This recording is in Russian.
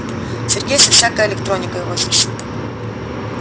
сергей со всякой электроникой возится